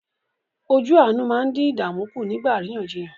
Ojú àánú máa ń dín ìdààmú kù nígbà àríyànjiyàn.